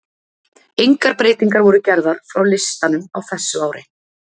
Engar breytingar voru gerðar frá listanum á þessu ári.